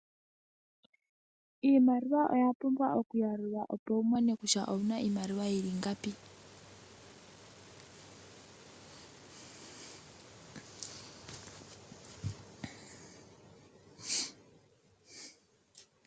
Iimaliwa oya pumbwa okuyalulwa opo wumone kutya owuna iimaliwa yi li ingapi.